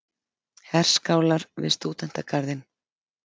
Herskálar við Stúdentagarðinn.